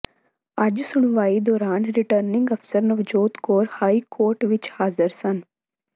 ਅੱਜ ਸੁਣਵਾਈ ਦੌਰਾਨ ਰਿਟਰਨਿੰਗ ਅਫ਼ਸਰ ਨਵਜੋਤ ਕੌਰ ਹਾਈ ਕੋਰਟ ਵਿੱਚ ਹਾਜ਼ਰ ਸਨ